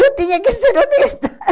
Eu tinha que ser honesta.